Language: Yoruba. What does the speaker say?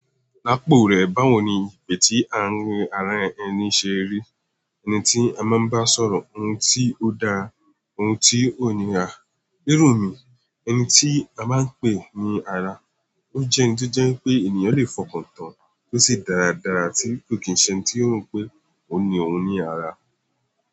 Láàpò rẹ̀, báwo ni ìpè tí à ń rí ara ẹni ṣe rí? Ẹni tí a máa ń bá sọ̀rọ̀, ohun tí ó da, ohun tí ò ní rà. Nírun mi, ẹni tí a máa ń pè ní ara. Ó jẹ́ ohun tó jẹ́ pé ènìyàn lè fọkàn tán tó sì dáradára tí kò kí ń ṣe ohun tí ó rò pé ó ní òun ní ara.